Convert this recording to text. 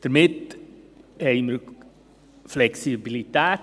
Damit haben wir in den Gemeinden Flexibilität.